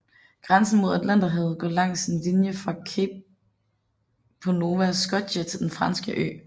Grænsen mod Atlanterhavet går langs en linje fra Cape Breton på Nova Scotia til den franske ø St